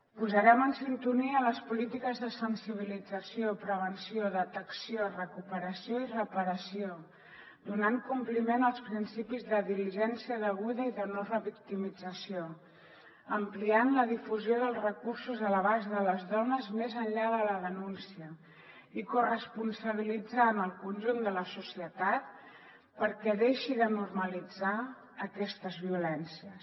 posarem en sintonia les polítiques de sensibilització prevenció detecció recuperació i reparació donant compliment als principis de diligència deguda i de no revictimització ampliant la difusió dels recursos a l’abast de les dones més enllà de la denúncia i corresponsabilitzant el conjunt de la societat perquè deixi de normalitzar aquestes violències